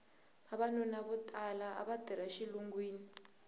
vavanuna vo tala ava tirha exilungwini